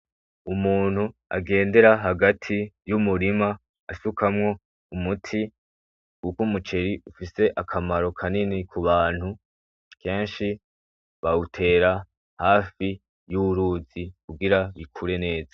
Umuntu agendera hagati y'umurima asukamwo umuti, kuko umuceri ufise akamaro kanini ku bantu. Kenshi bawutera hafi y'uruzi kugira bikure neza.